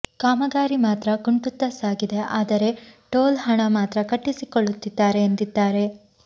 ಕಾಮಗಾರಿ ಮಾತ್ರ ಕುಂಟುತ್ತಾ ಸಾಗಿದೆ ಆದರೆ ಟೋಲ್ ಹಣ ಮಾತ್ರ ಕಟ್ಟಿಸಿಕೊಳ್ಳುತ್ತಿದ್ದಾರೆ ಎಂದಿದ್ದಾರೆ